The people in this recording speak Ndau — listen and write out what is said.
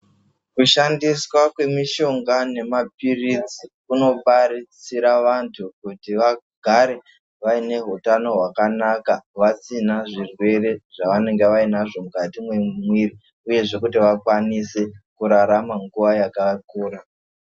Kushandiswa kwemishinga nemapirizi kuno paridzira antu kuti agare ane hutano hwakanaka vasina zvirwere zvavainga vanazvo mukati memwiri uyezve vakwanise kurarama nguwa yakakura.